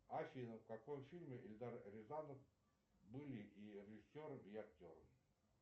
афина в каком фильме эльдар рязанов был и режиссером и актером